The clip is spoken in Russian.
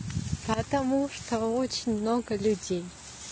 потому что очень много людей